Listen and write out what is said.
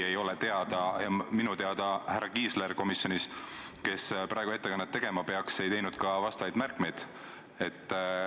Minu teada härra Kiisler, kes peaks praegu siin ettekannet tegema, ei teinud ka vastavaid märkmeid.